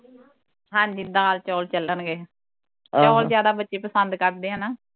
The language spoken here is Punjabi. ਹਾਂਜੀ ਦਾਲ ਚੌਲ ਚੱਲਣਗੇ ਚੌਲ ਜਿਆਦਾ ਬੱਚੇ ਪਸੰਦ ਕਰਦੇ ਆ ਨਾ